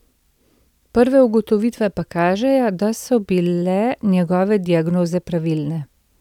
Prve ugotovitve pa kažejo, da so bile njegove diagnoze pravilne.